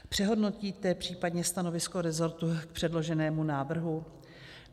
Přehodnotíte případně stanovisko resortu k předloženému návrhu?